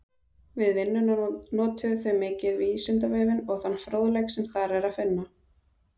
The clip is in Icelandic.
Við vinnuna notuðu þau mikið Vísindavefinn og þann fróðleik sem þar er að finna.